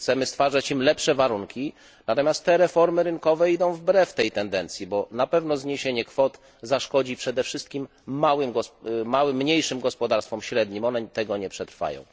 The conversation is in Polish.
Chcemy stwarzać im lepsze warunki, natomiast te reformy rynkowe idą wbrew tej tendencji, bo na pewno zniesienie kwot zaszkodzi przede wszystkim mniejszym i średnim gospodarstwom, które tego nie przetrwają.